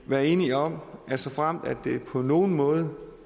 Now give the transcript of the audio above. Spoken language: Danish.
være enige om at vi såfremt der på nogen måde